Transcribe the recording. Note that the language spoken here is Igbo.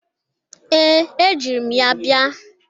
Ee, ejiri m ya bia.